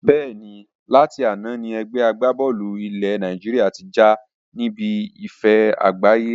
Bẹ́ẹ̀ni, láti àná ni ẹgbẹ́ agbá-bọ́ọ́lù ilé Nàìjíríà tí já níbi ife àgbáyé